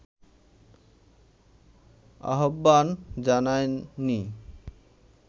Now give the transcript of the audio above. আহ্বান জানায়নি